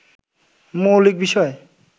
মৌলিক বিষয়